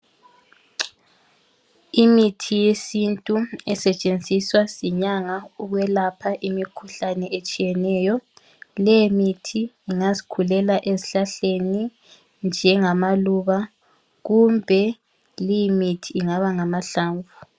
Imithi yesintu esetshenziswa zinyanga ukwelapha imikhuhlane etshiyeneyo. Leyo mithi ingazikhulela esihlaleni njengamaluba kumbe leyimithi ingaba ngamahlamvu.